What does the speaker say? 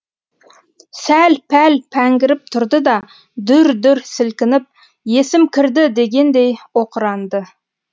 сәл пәл пәңгіріп тұрды да дүр дүр сілкініп есім кірді дегендей оқыранды